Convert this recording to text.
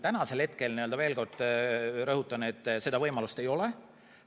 Tänasel hetkel, veel kord rõhutan, seda võimalust ei ole.